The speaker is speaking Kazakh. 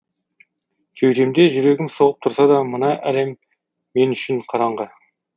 кеудемде жүрегім соғып тұрса да мына әлем мен үшін қараңғы